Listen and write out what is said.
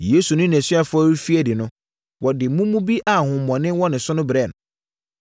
Yesu ne nʼasuafoɔ refiri adi no, wɔde mumu bi a honhommɔne wɔ ne so brɛɛ no.